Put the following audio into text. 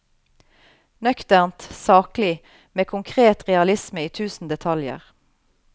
Nøkternt, saklig, med konkret realisme i tusen detaljer.